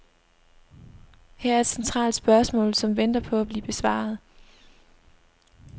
Her er et centralt spørgsmål, som venter på at blive besvaret.